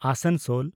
Asansol